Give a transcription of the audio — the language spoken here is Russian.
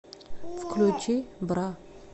включи бра